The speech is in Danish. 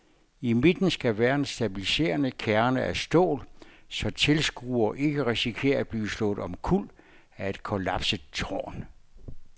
I midten skal være en stabiliserende kerne af stål, så tilskuere ikke risikerer at blive slået omkuld af et kollapset tårn.